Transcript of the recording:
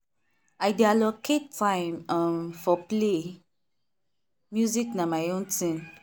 i dey allocate time um for play music na my own thing.